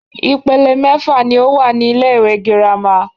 Ìpele mẹ́fà ní o wà ní ilé ìwé gírámà.